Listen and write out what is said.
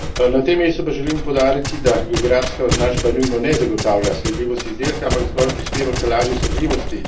Na tem mestu pa želim poudariti, da geografska označba nujno ne zagotavlja sledljivosti izdelka, ampak zgolj prispeva k lažji sledljivosti.